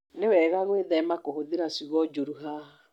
Nĩ wega gwĩthema kũhũthĩra ciugo njũru haha.